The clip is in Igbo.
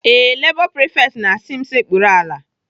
Ee, Lebọ prifekt na-asị m sekpuru ala.